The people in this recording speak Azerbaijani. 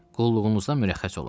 Qulluğunuzdan mürəxxəs olum.